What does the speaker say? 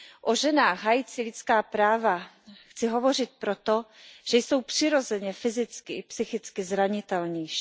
O ženách hájících lidská práva chci hovořit proto, že jsou přirozeně fyzicky i psychicky zranitelnější.